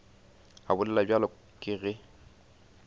a bolela bjalo ke ge